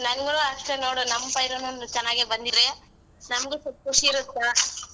ನಂಗೂನೂ ಅಷ್ಟೇ ನೋಡ್ ನಮ್ಮ್ ಪೈರುನು ಚೆನ್ನಾಗೇ ಬಂದಿದ್ರೆ ನಮ್ಗೂ ಸ್ವಲ್ಪ್ ಖುಷಿರುತ್ತ .